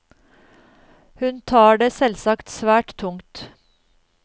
Hun tar det selvsagt svært tungt.